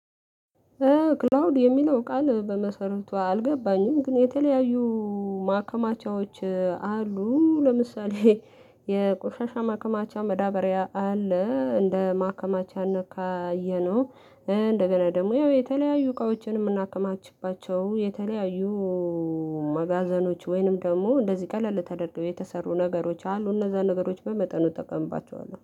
ክላውድ የሚለው ቃል በመሰረቱ አልገባኝም ግን የተለያዩ ማከማቻዎች አሉ ለምሳሌ የቆሻሻ ማከማቻ መዳበሪያ አለ። እንደ ማከማቻነት ካየነው እንደገና ደግሞ ያው የተለያዩ እቃዎችን የምናከማችባቸው የተለያዩ መጋዘኖች ወይንም ደግሞ እንደዚህ ቀለል ተደርገው የተሰሩ ነገሮች አሉ እነዛ ነገሮች በመጠኑ ተቀምባቸዋለሁ